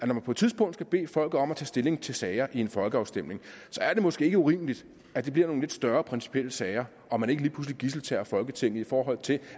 man på et tidspunkt skal bede folket om at tage stilling til sager i en folkeafstemning er det måske ikke urimeligt at det bliver nogle lidt større principielle sager og man ikke lige pludselig gidseltager folketinget i forhold til